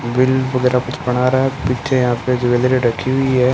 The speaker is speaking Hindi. बिल वगैरह कुछ बना रहा है पीछे यहां पे ज्वेलरी रखी हुई है।